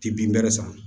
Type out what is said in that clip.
Ti bin bɛrɛ san